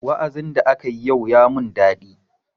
Wa'azin da akayi yau ya mun daɗi.